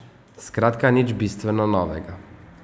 Skratka nič bistveno novega.